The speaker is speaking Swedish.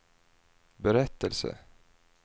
berättelse